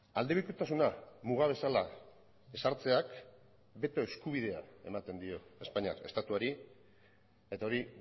aldebikotasuna muga bezala ezartzeak beto eskubidea ematen dio espainiar estatuari eta hori